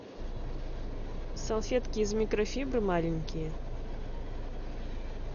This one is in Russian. салфетки из микрофибры маленькие